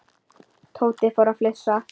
Tóti fór að flissa.